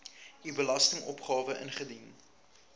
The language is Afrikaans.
u belastingopgawe ingedien